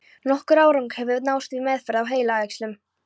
Nokkur árangur hefur náðst við meðferð á heilaæxlum.